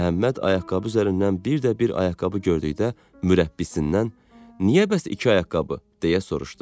Məhəmməd ayaqqabı üzərindən bir də bir ayaqqabı gördükdə mürəbbisindən, niyə bəs iki ayaqqabı, deyə soruşdu.